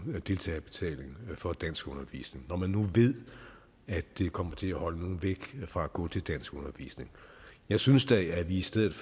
deltagerbetaling for danskundervisning når man nu ved at det kommer til at holde nogle væk fra at gå til danskundervisning jeg synes da at vi i stedet